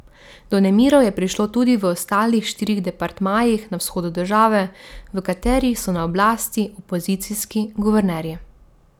Do nemirov je prišlo tudi v ostalih štirih departmajih na vzhodu države, v katerih so na oblasti opozicijski guvernerji.